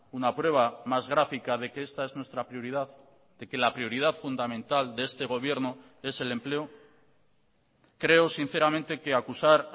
una prueba más gráfica de que esta es nuestra prioridad de que la prioridad fundamental de este gobierno es el empleo creo sinceramente que acusar